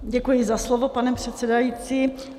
Děkuji za slovo, pane předsedající.